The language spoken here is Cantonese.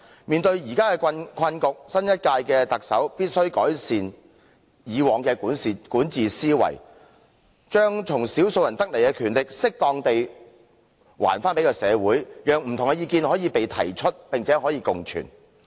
面對現時的困局，新一屆特首必須改善以往的管治思維，把小數人的權力適當地歸還社會，讓不同的意見可被提出，並可共存。